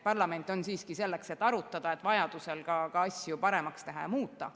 Parlament on siiski selleks, et arutada ja vajaduse korral ka asju paremaks muuta.